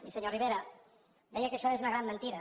i senyor rivera deia que això és una gran mentida